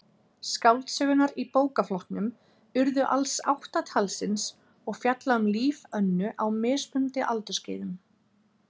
Skáldsögurnar í bókaflokknum urðu alls átta talsins og fjalla um líf Önnu á mismunandi aldursskeiðum.